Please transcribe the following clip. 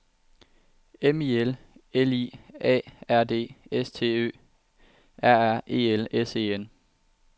M I L L I A R D S T Ø R R E L S E N